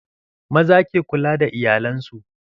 Maza ke kula da iyalan su.